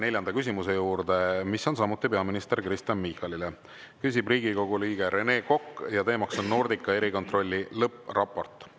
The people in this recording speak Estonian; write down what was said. Neljas küsimus on samuti peaminister Kristen Michalile, küsib Riigikogu liige Rene Kokk ja teema on Nordica erikontrolli lõppraport.